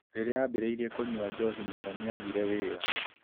Rĩrĩa aambĩrĩirie kũnyua njohi mũno, nĩ aagire wĩra.